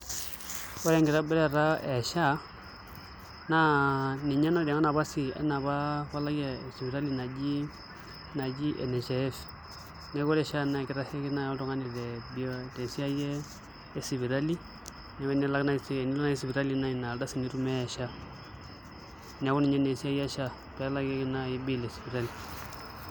Ore enkitobirata e sha na ninye nayawa esiaii enaapa palai naji ene nhif na ore ore sha enabenkitashikino oltungani tesipitali neaku enilo nai sipitali na inardasai intumia e sha neaku ninye na esiai e sha pelakieki nai esiai esipitali.